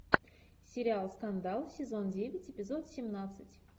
сериал скандал сезон девять эпизод семнадцать